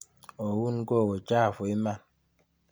Oun gogo, chafu iman.